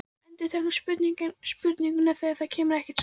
Endurtekur spurninguna þegar það kemur ekkert svar.